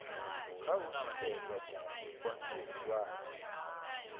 kha u tikedza tshipikwa tshihulwane